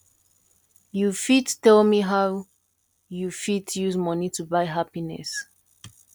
you fit tell me how you fit use money to buy happiness